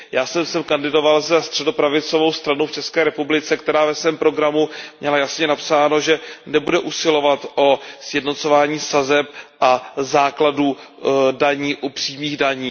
Já jsem sem kandidoval za středopravicovou stranu v České republice, která ve svém programu měla jasně napsáno, že nebude usilovat o sjednocování sazeb a základů daní u přímých daní.